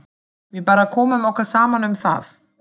Við bara komum okkur saman um það.